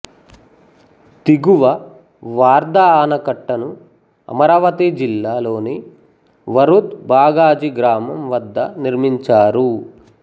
దిగువ వార్ధా ఆనకట్టను అమరవాతి జిల్లా లోని వరూద్ బాగాజి గ్రాఅం వద్ద నిర్మించారు